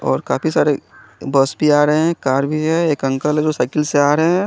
और काफी सारे बॉस भी आ रहे है कार भी है और एक अंकल है जो साईकिल से आ रहे है।